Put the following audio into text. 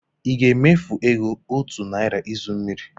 Ị ga-emefu ego otu naira izu mmiri?